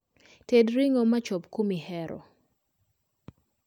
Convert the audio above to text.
Ted ring'o machop kumihero